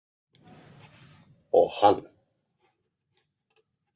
Og hann.